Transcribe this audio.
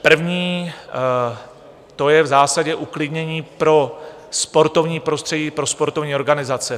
První, to je v zásadě uklidnění pro sportovní prostředí, pro sportovní organizace.